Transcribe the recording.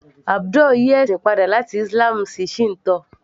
Abdul yí ẹ̀sìn padà láti Islam sí Shinto